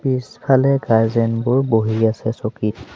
পিছফালে গাৰ্জেন বোৰ বহি আছে চকীত।